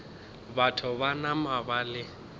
batho ba nama ba le